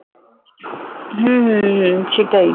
হুম হুম হুম হুম সেটাই